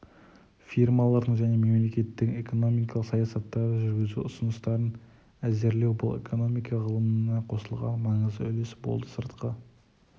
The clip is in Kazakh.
фирмалардың және мемлекеттің экономикалық саясаттарды жүргізу ұсыныстарын әзірлеу бұл экономика ғылымына қосылған маңызды үлес болды сыртқы